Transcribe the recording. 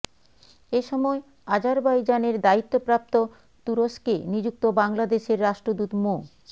এ সময় আজারবাইজানের দায়িত্বপ্রাপ্ত তুরস্কে নিযুক্ত বাংলাদেশের রাষ্ট্রদূত মো